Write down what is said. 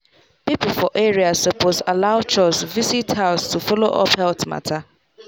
people for area suppose allow chws visit house to follow up health matter.